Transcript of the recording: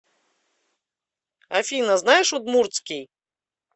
афина знаешь удмуртский